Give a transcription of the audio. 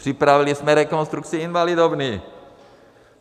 Připravili jsme rekonstrukci Invalidovny.